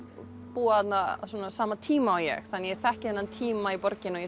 búið þarna á sama tíma og ég ég þekki þennan tíma í borginni og